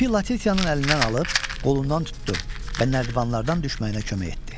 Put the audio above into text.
İpi Latitiyanın əlindən alıb, qolundan tutdu və nərdivanlardan düşməyinə kömək etdi.